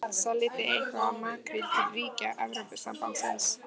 Þorbjörn: Seljið þið eitthvað af makríl til ríkja Evrópusambandsins?